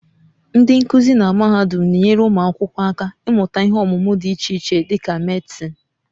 Ndị nkuzi na mahadum na-enyere ụmụ akwụkwọ aka ịmụta ihe ọmụmụ dị iche iche dị ka Medịsịn